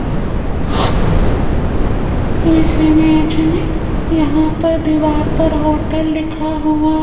इस इमेज में यहां पर दीवार पर होटल लिखा हुआ--